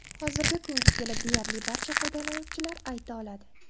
Hozirgi kunga kelib deyarli barcha foydalanuvchilar ayta oladi.